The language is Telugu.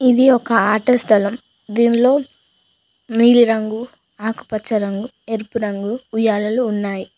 ఇది ఒక ఆట స్థలం దీనిలో నీలి రంగు ఆకుపచ్చ రంగు ఎరుపు రంగు ఉయ్యాలలు ఉన్నాయ్.